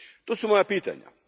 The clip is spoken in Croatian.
To su moja pitanja.